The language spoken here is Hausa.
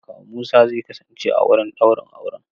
Kawu Musa zai kasance a wurin ɗaurin auren.